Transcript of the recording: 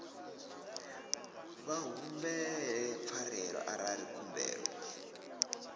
vha humbele pfarelo arali khumbelo